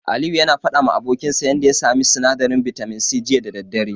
Aliyu yana faɗawa abokinsa yanda yake samun sinadarin bitamin C, jiya da daddare.